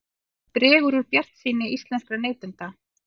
Dregur úr bjartsýni íslenskra neytenda